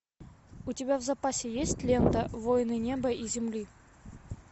у тебя в запасе есть лента воины неба и земли